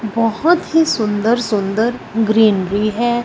बहोत ही सुंदर सुंदर ग्रीनरी है।